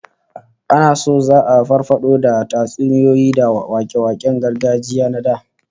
Ana so za'a farfado da tatsuniyoyi da wake-waken gargajiya na da